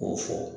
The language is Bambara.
K'o fɔ